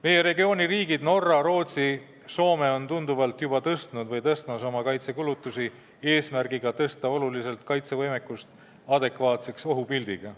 Meie regiooni riigid – Norra, Rootsi ja Soome – on oma kaitsekulutusi juba tunduvalt suurendanud või suurendamas, et kaitsevõimekust oluliselt kasvatada ja muuta see adekvaatseks ohupildiga.